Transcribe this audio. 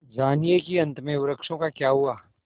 जानिए कि अंत में वृक्षों का क्या हुआ